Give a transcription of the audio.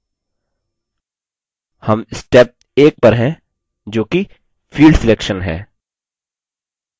हम step 1 पर हैं जो कि field selection है